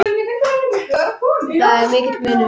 Þar er mikill munur.